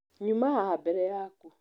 Nyũma haha mbere yaku.